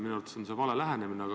Minu arvates on see vale lähenemine.